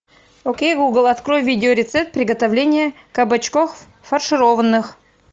окей гугл открой видеорецепт приготовления кабачков фаршированных